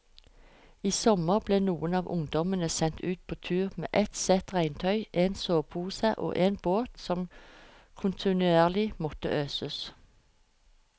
I sommer ble noen av ungdommene sendt ut på tur med ett sett regntøy, en sovepose og en båt som kontinuerlig måtte øses.